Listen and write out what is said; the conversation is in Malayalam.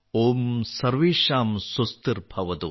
ഓം സർവേഷാം സ്വസ്തിർ ഭവതു